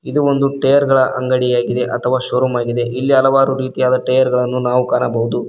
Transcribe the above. ಇದು ಒಂದು ಟೆರ್ ಗಳ ಅಂಗಡಿಯಾಗಿದೆ ಅಥವ ಷೋರೂಮ್ ಆಗಿದೆ ಇಲ್ಲಿ ಹಲವಾರು ರೀತಿಯ ಟೈರ್ ಗಳನ್ನು ನಾವು ಕಾಣಬಹುದು.